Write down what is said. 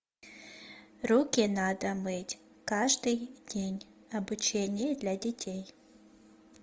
руки надо мыть каждый день обучение для детей